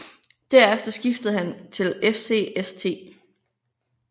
Derefter skiftede han til FC St